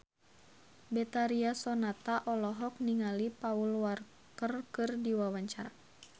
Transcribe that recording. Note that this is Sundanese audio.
Betharia Sonata olohok ningali Paul Walker keur diwawancara